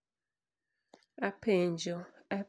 Apenjo, Abigail Awino en ng'a?